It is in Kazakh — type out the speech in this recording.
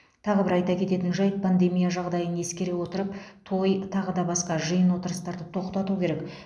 тағы бір айта кететін жайт пандемия жағдайын ескере отырып той тағы да басқа жиын отырыстарды тоқтату керек